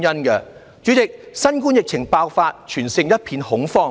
代理主席，新冠疫情爆發，全城一片恐慌。